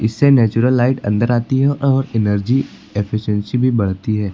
इससे natural light अंदर आती है और एनर्जी एफिशिएंसी भी बढ़ती है।